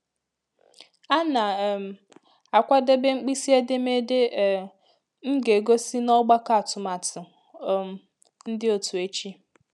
A na um m akwadebe mkpịsị edemede um m ga-egosi n’ọgbakọ atụmatụ um ndị òtù echi.